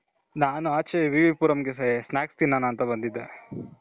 ನಾನು ಆಚೆ V V Puram ಗೆ snacks ತಿನ್ನೋಣ ಅಂತ ಬಂದಿದ್ದೆ.